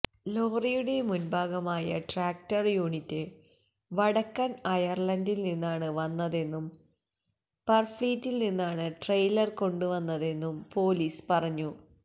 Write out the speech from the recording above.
ലോറിയുടെ മുൻഭാഗമായ tractor unit വടക്കൻ അയർലണ്ടില് നിന്നാണ് വന്നതെന്നും പർഫ്ളീറ്റിൽ നിന്നാണ് ട്രെയ്ലർ കൊണ്ടു വന്നതെന്നും പൊലീസ് പറഞ്ഞു